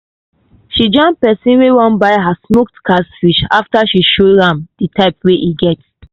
she jam pesin wey wan buy her smoked catfish after she show am di type wey e get.